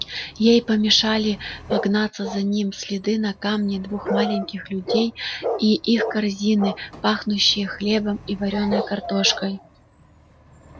ей помешали погнаться за ним следы на камне двух маленьких людей и их корзины пахнущие хлебом и вареной картошкой